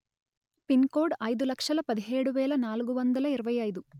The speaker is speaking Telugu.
పిన్ కోడ్ అయిదు లక్షలు పదిహేడు వెలు నాలుగు వందలు ఇరవై అయిదు